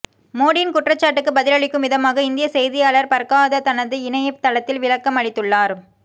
மோடியின் குற்றச்சாட்டுக்கு பதிலளிக்கும் விதமாக இந்திய செய்தியாளர் பர்காதத் தனது இணைய தளத்தில் விளக்கம் அளித்துள்ளார்